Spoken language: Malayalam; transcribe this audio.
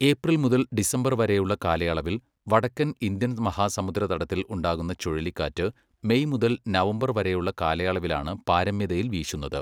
ഏപ്രിൽ മുതൽ ഡിസംബർ വരെയുള്ള കാലയളവിൽ വടക്കൻ ഇന്ത്യൻ മഹാസമുദ്ര തടത്തിൽ ഉണ്ടാകുന്ന ചുഴലിക്കാറ്റ് മെയ് മുതൽ നവംബർ വരെയുള്ള കാലയളവിലാണ് പാരമ്യതയിൽ വീശുന്നത്.